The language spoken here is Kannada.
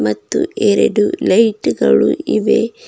ಮತ್ತು ಎರಡು ಲೈಟ್ ಗಳು ಇವೆ.